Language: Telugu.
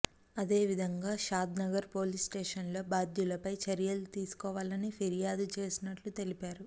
అదే విధంగా షాద్నగర్ పోలీసు స్టేషన్లో బాధ్యులపై చర్యలు తీసుకోవాలని ఫిర్యాదు చేసినట్లు తెలిపారు